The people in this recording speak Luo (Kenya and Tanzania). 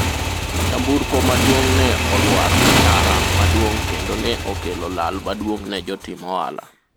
nyamburko maduong' ne olwar e ndara maduong' kendo ne okelo lal maduong' ne jotim ohala